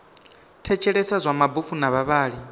thetshelesa zwa mabofu na vhavhali